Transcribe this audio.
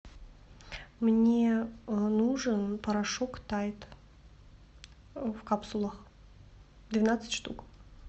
мне нужен порошок тайд в капсулах двенадцать штук